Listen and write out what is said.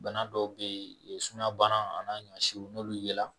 Bana dɔw bɛ sumayabana an'a ɲɔɔnsiw n'olu yɛla